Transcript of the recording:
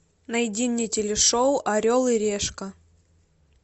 найди мне телешоу орел и решка